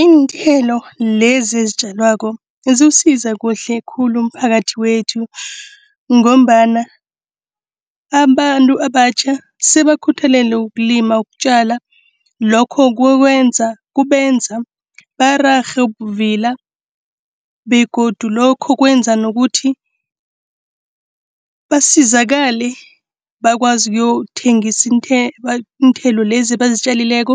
Iinthelo lezi ezitjalwako ziwusiza kuhle khulu umphakathi wethu. Ngombana abantu abatjha sebakukhuthalele ukulima, ukutjala. Lokho kubenza bararhe ubuvila begodu lokho kwenza nokuthi basizakale, bakwazi ukuyokuthengisa iinthelo lezi abazitjalileko,